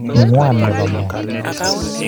Ngwane ne boe moe.